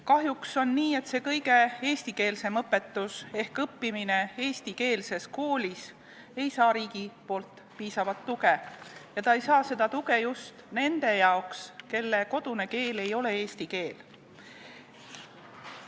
Kahjuks on nii, et see kõige eestikeelsem õpetus ehk õppimine eestikeelses koolis ei saa riigilt piisavalt tuge ja seda tuge ei saa just need, kelle kodune keel ei ole eesti keel.